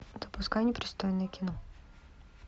запускай непристойное кино